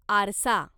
आरसा